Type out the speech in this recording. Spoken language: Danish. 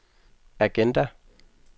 agenda